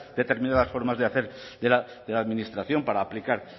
determinadas formas de hacer de la administración para aplicar